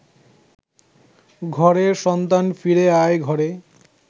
ঘরের সন্তান ফিরে আয় ঘরে